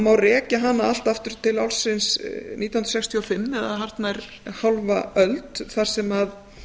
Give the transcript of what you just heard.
má rekja hana allt aftur til ársins nítján hundruð sextíu og fimm eða hartnær hálfa öld þar sem